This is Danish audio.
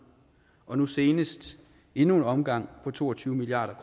og nu senest endnu en omgang på to og tyve milliard